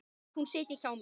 Að hún sitji hjá þér?